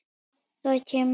Það kemur.